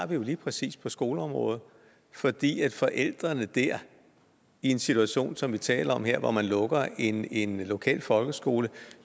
det er lige præcis på skoleområdet for de forældre der er i den situation som vi taler om her hvor man lukker en en lokal folkeskole